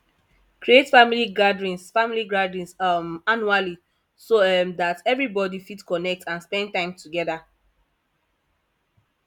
create family gatherings family gatherings um annually so um that everybody fit connect and spend time together